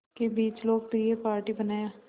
के बीच लोकप्रिय पार्टी बनाया